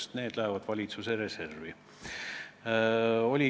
Vastus: need lähevad valitsuse reservi.